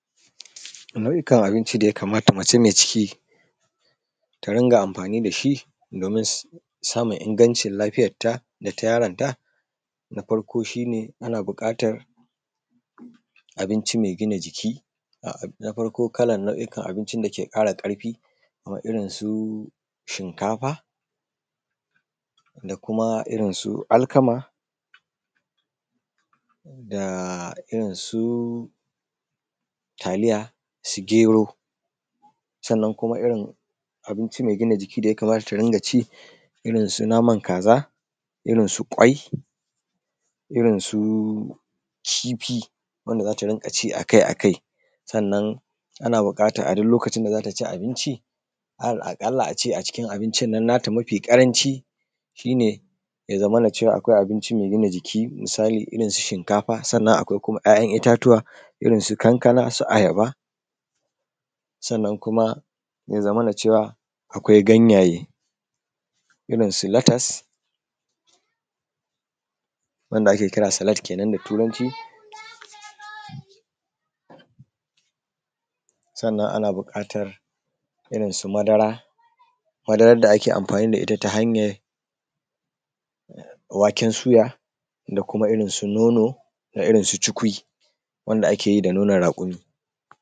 nau’ikan abinci da ya kamata mace mai ciki ta ringa amfani da shi domin samun ingancin lafiyanta da na yaronta na farko shine ana buƙatar abinci mai gina jiki na farko kalan nau’ikan abinci da ke ƙara ƙarfi kaman irin su shinkafa da kuma irin su alkama da irinsu taliya su gero sannan kuma irinsu abinci mai gina jiki da ya kamata ta ringa ci irinsu naman kaza irinsu ƙwai irinsu kifi wanda za ta dinga ci akai akai sannan ana buƙatar a duk lokacin da za ta ci abinci aƙalla a ce a cikin abincin na ta mafi ƙaranci shine ya zamana cewa akwai abinci mai gina jiki misali irin su shinkafa sannan akwai kuma 'ya' yan itatuwa irinsu kankana su ayaba sannan kuma ya zamana cewa akwai ganyaye irin su latas wanda ake kira salad kenan da turanci sannan ana buƙatar irinsu madara madaran da ake amfani da ita ta hanyar waken suya da kuma irin su nono irinsu cikui wanda ake yi da nonon raƙumi